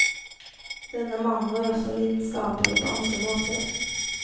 Denne mannen var også lidenskapelig på andre måter.